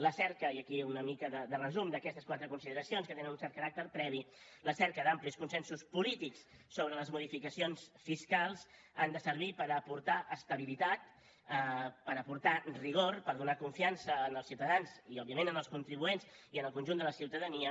la cerca i aquí hi ha una mica de resum d’aquestes quatre consideracions que tenen un cert caràcter previ d’amplis consensos polítics sobre les modificacions fiscals ha de servir per aportar estabilitat per aportar rigor per donar confiança als ciutadans i òbviament als contribuents i al conjunt de la ciutadania